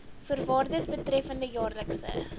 voorwaardes betreffende jaarlikse